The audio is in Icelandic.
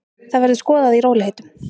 Það verður skoðað í rólegheitum.